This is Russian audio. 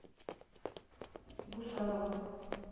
гусарову